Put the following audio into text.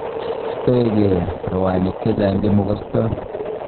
Stoengee rowaniik chechang nyemokstooi.